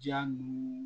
Ja ninnu